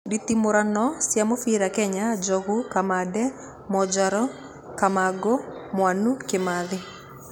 Nditimũrano cia mũbira Kenya, Njogu, Kamande, Mwonjaru, Kamangũ, Mwanũ, Kĩmathi.